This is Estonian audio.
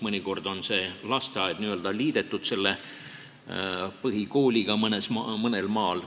Mõnel maal on lasteaed n-ö liidetud põhikooliga.